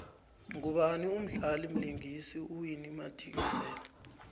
ngubani umdlali vlingisa uwinnie madikizela